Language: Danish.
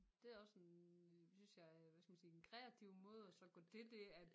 Det også en synes jeg hvad skal man sige en kreativ måde at så gå til det at